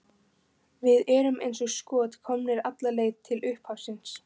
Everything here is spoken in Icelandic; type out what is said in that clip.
Við erum eins og skot komnir alla leið til upphafsins.